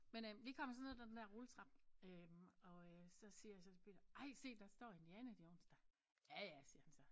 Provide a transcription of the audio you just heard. Men øh vi kommer så ned af den der rulletrappe øh og øh så siger jeg så til Peter ej se der står Indiana Jones da ja ja siger han så